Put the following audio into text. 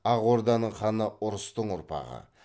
ақ орданың ханы ұрыстың ұрпағы